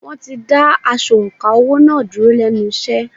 Wọ́n ti da asọ̀ǹkà owó” náà dúró lẹ́nu iṣẹ́.